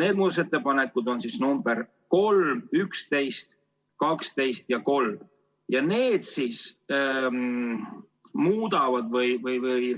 Need muudatusettepanekud on nr 3, 11, 12 ja 13 ja need